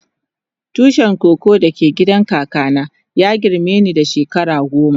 Tushin koko da ke gidan kaka na ya girme ni da shekara goma.